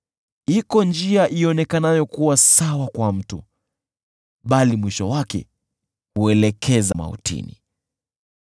Iko njia ionekanayo kuwa sawa kwa mtu, bali mwisho wake huelekeza mautini.